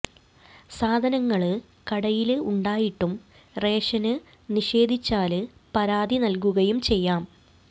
സാധനങ്ങള് കടയില് ഉണ്ടായിട്ടും റേഷന് നിഷേധിച്ചാല് പരാതി നല്കുകയും ചെയ്യാം